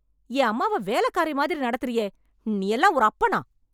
என் அம்மாவை வேலைக்காரி மாதிரி நடத்துறியே நீயெல்லாம் ஒரு அப்பனா?